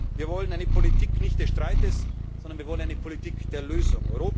Wir wollen keine Politik des Streites, sondern wir wollen eine Politik der Lösung.